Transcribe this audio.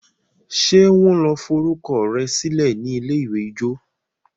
ṣe wan lò forukọsilẹ rẹ silẹ ní ilé-ìwé ijó?